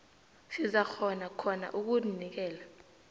sizakghona khona ukunikela